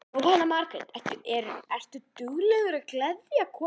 Jóhanna Margrét: Ertu duglegur að gleðja konuna?